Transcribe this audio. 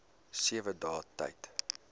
sewe dae tyd